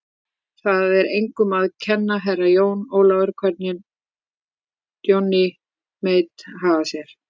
Það er engum að kenna, Herra Jón Ólafur, hvernig Johnny Mate hagar sér.